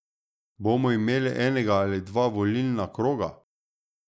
Bomo imeli enega ali dva volilna kroga?